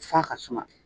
F'a ka suma